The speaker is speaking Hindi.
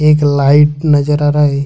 एक लाइट नजर आ रहा है।